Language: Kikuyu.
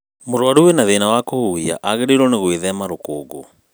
mũrũaru wĩna thĩna wa kũhuhia agĩrĩirwo gwĩthema rũkũngũ